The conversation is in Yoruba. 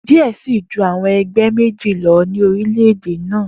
Diẹ ẹ sii ju awọn ẹgbẹ meji lọ ni orilẹ-ede naa.